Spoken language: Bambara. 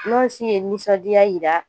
Nɔnsi ye nisɔndiya yira